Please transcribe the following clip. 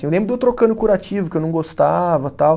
Eu lembro de eu trocando curativo, que eu não gostava, tal.